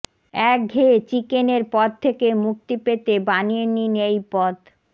একঘেয়ে চিকেনর পদ থেকে মুক্তি পেতে বানিয়ে নিন এই পদ